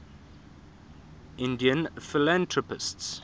indian philanthropists